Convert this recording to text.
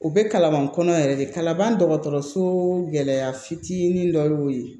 U bɛ kalaban kɔnɔ yɛrɛ de kaban dɔgɔtɔrɔso gɛlɛya fitinin dɔ y'o ye